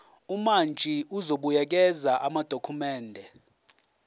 umantshi uzobuyekeza amadokhumende